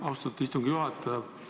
Austatud istungi juhataja!